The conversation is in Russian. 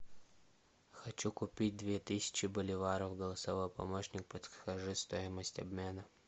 хочу купить две тысячи боливаров голосовой помощник подскажи стоимость обмена